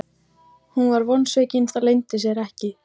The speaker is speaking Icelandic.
Hún var vonsvikin, það leyndi sér ekki.